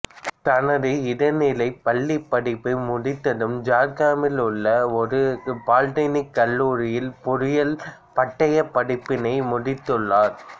தனது இடைநிலைப் பள்ளிப்படிப்பை முடித்ததும் ஜார்கிராமில் உள்ள ஒரு பாலிடெக்னிக் கல்லூரியில் பொறியியல் பட்டையப் படிப்பினை முடித்துள்ளார்